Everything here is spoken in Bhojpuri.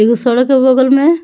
एगो सड़क है बगल में --